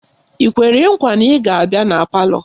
Ị kwere nkwa na ị ga-abịa na palọ?